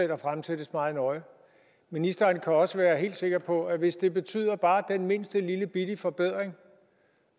der fremsættes meget nøje ministeren kan også være helt sikker på at hvis det betyder bare den mindste lillebitte forbedring